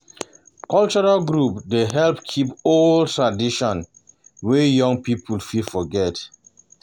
Cultural groups dey help keep old traditions wey young people fit forget.